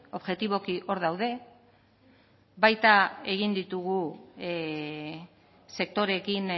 objektiboki hor daude baita ere egin ditugu sektoreekin